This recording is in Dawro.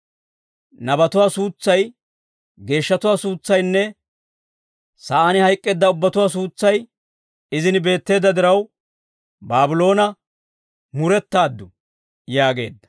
Nabatuwaa suutsay, geeshshatuwaa suutsaynne, sa'aan hayk'k'eedda ubbatuwaa suutsay, izin beetteedda diraw, Baabloona, murettaaddu» yaageedda.